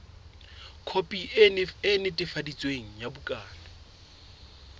khopi e netefaditsweng ya bukana